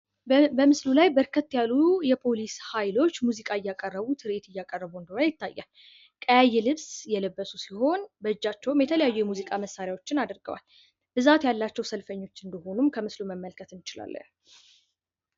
በምስሉ ላይ በርከት ያሉ የፖሊስ ሃይሎች ሙዚቃ እያቀረቡ ትርዒት እያቀረቡ እንደሆነ ይታያል ፤ቀያይ ልብስ የለበሱ ሲሆን በጃቸውም የተለያዩ የሙዚቃ መሳሪያዎች አድርገዋል ብዛት ያላቸው ሰልፈኞች እንደሆኑ ከምስሎ ላይ መረዳት ይቻላል።